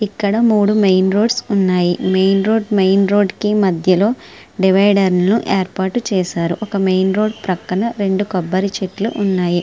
ఇక్కడ మూడు main roads ఉన్నాయి మెయిన్ రోడ్డు మెయిన్ రోడ్డు కీ మధ్యలో దివిడేరును ఏర్పాటు చేస్తుంటారు పక్కన రెండు కొబరి చెట్లు ఉన్నాయి.